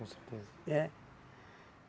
Com certeza. É.